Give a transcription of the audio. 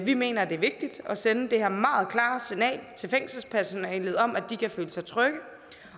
vi mener at det er vigtigt at sende det her meget klare signal til fængselspersonalet om at de kan føle trygge